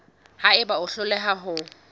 ha eba o hloleha ho